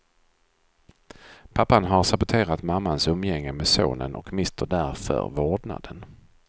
Pappan har saboterat mammans umgänge med sonen och mister därför vårdnaden.